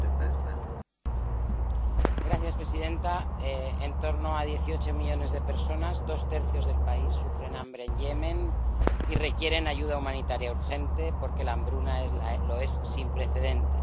Señora presidenta, en torno a dieciocho millones de personas, dos tercios del país, sufren hambre en Yemen y requieren ayuda humanitaria urgente, porque la hambruna lo es sin precedentes.